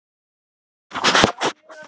Þetta sýnir líka karakter.